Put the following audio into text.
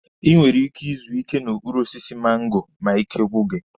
I nwere ike izu ike n'okpuru osisi mango ma ike gwụ gị.